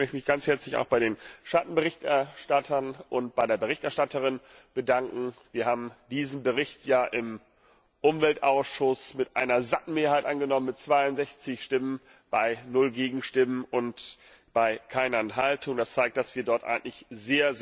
Ich möchte mich auch ganz herzlich bei den Schattenberichterstattern und bei der Berichterstatterin bedanken. Wir haben diesen Bericht ja im Umweltausschuss mit einer satten Mehrheit angenommen, mit 62 Stimmen bei 0 Gegenstimmen und keiner Enthaltung. Das zeigt, dass wir dort eigentlich sehr